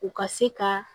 U ka se ka